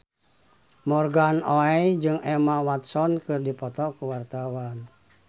Morgan Oey jeung Emma Watson keur dipoto ku wartawan